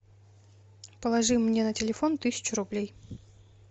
положи мне на телефон тысячу рублей